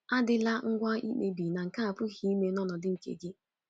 Adịla ngwa ikpebi na nke a apụghị ime n’ọnọdụ nke gị.